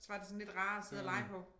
Så var det sådan lidt rarere at sidde og lege på